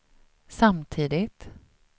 samtidigt